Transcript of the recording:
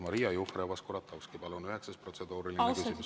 Maria Jufereva‑Skuratovski, palun, üheksas protseduuriline küsimus!